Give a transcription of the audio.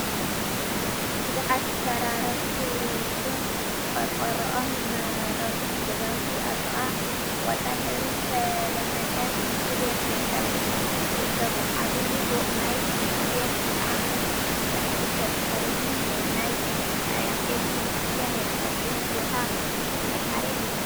ቡዙሓት ዝፈራረሱብን ቆርቆርኦም ዝመረቱን ገዛውቲ ኣብ ጥቃ ብቆጻል ሕብሪ ዝተለመጸ ሽንት ቤት ይርከቡ። ዓብይ ፎቅ ናይ ሙዝየም ከዓ ኣብ ምስራሕ ይርከብ። ብድሕሪ እዚ ሙዝየም ናይ ማርያም ጽዮን ቤተ ክርስትያን ይርከብ። እዚ ቦታ ሰማዒት ማርያም ይበሃል።